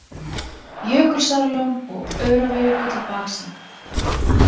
Jökulsárlón og Öræfajökull í baksýn.